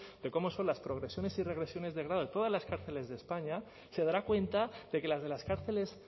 de cómo son las progresiones y regresiones de grado de todas las cárceles de españa se dará cuenta de que las de las cárceles